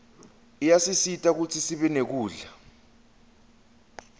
iyasisita kutsisibe nekudla